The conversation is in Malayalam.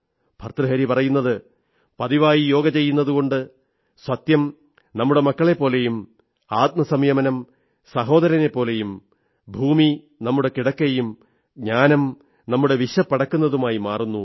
ഭർതൃഹരി പറയുന്നത് പതിവായി യോഗ ചെയ്യുന്നതുകൊണ്ട് സത്യം നമ്മുടെ മക്കളെപ്പോലെയും ആത്മസംയമനം സഹോദരനെപ്പോലെയും ഭൂമി നമ്മുടെ കിടക്കയും ജ്ഞാനം നമ്മുടെ വിശപ്പടക്കുന്നതുമായി മാറുന്നു